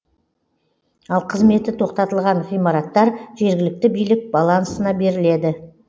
ал қызметі тоқтатылған ғимараттар жергілікті билік балансына беріледі